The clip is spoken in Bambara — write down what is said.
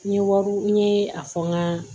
N ye wariw n ye a fɔ n ka